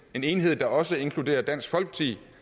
en enighed der også inkluderer dansk folkeparti